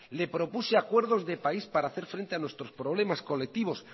le propuse acuerdos de país para hacer frente a nuestros problemas colectivos